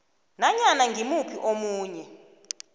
nanyana ngimuphi omunye